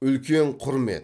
үлкен құрмет